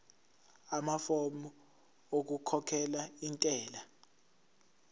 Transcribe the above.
amafomu okukhokhela intela